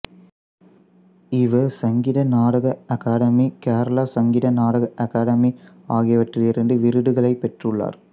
இவர் சங்கீத நாடக அகாதமி கேரள சங்கீத நாடக அகாடமி ஆகியவற்றிலிருந்து விருதுகளைப் பெற்றுள்ளார்